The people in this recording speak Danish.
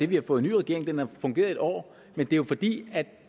vi har fået en ny regering og den har fungeret et år men det er jo fordi